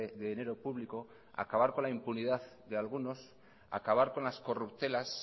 de dinero público acabar con la impunidad de algunos acabar con las corruptelas